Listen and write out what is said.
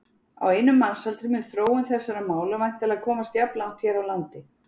Á einum mannsaldri mun þróun þessara mála væntanlega komast jafnlangt hér á landi.